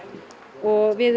og við